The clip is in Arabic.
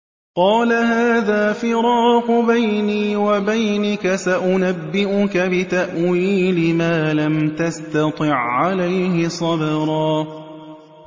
قَالَ هَٰذَا فِرَاقُ بَيْنِي وَبَيْنِكَ ۚ سَأُنَبِّئُكَ بِتَأْوِيلِ مَا لَمْ تَسْتَطِع عَّلَيْهِ صَبْرًا